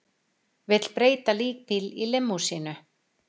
Vill breyta líkbíl í límúsínu